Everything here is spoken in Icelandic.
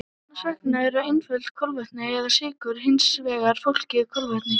Annars vegar eru einföld kolvetni eða sykur og hins vegar flókin kolvetni.